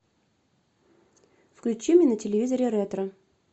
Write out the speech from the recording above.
включи мне на телевизоре ретро